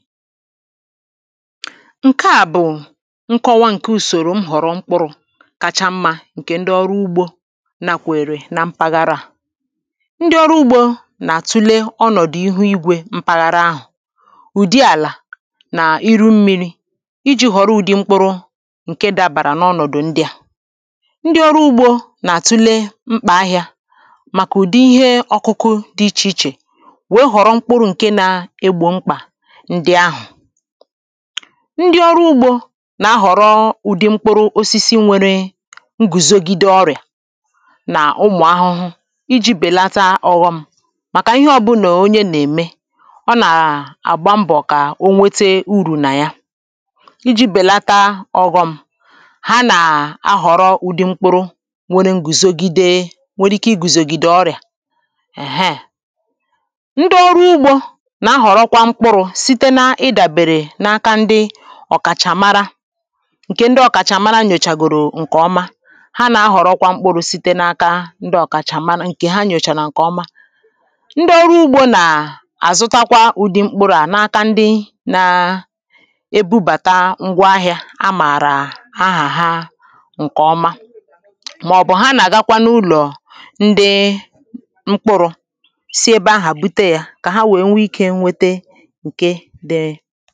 ǹke à bụ̀ nkọwa ǹke ùsòrò m họ̀rọ̀ mkpụrụ̇ kacha mmȧ ǹkè ndị ọrụ ugbȯ nakwèrè na mpaghara à ndị ọrụ ugbȯ nà-àtule ọnọ̀dụ̀ ihe igwė mpaghara ahụ̀ ụ̀dị àlà nà iru mmịrị̇ iji̇ họ̀rọ ụ̀dị mkpụrụ ǹke dabàrà n’ọnọ̀dụ̀ ndị à ndị ọrụ ugbȯ nà-àtule mkpà ahịȧ màkà ụ̀dị ihe ọkụkụ dị ichè ichè wee họ̀rọ mkpụrụ̇ ǹke na-egbò mkpà ndi ọrụ ugbȯ na-ahọrọ ụ̀dị mkpụrụ osisi nwere ngùzògide ọrịà n’ụmụ̀ ahụhụ iji bèlata ọ̀ghọm màkà ihe ọbụlà onye nà-ème ọ nà-àgba mbọ̀ kà onwete urù nà ya iji bèlata ọ̀ghọm ha nà-ahọ̀rọ ụdị mkpụrụ nwere ngùzògide nwere ike igùzògide ọrịà èheè ndi ọrụ ugbȯ na-ahọ̀rọkwa mkpụrụ̇ ọ̀kàchà mara ǹkè ndị ọ̀kàchà mara nyochàgòrò ǹkèọma ha nà-ahọ̀rọkwa mkpụrụ̇ site n’aka ndị ọ̀kàchà mara ǹkè ha nyòchà nà ǹkèọma ndị ọrụ ugbȯ nà àzụtakwa ụ̀dị mkpụrụ̇ à n’aka ndị nȧ-ėbubàtȧ ngwaahịȧ a mààrà ahà ha ǹkèọma màọ̀bụ̀ ha nà-àgakwa n’ụlọ̀ ndị mkpụrụ̇ si ebe ahụ̀ bute yȧ kà ha wee nwee ikė nwete ha